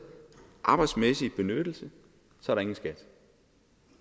arbejdsmæssig benyttelse er der ingen skat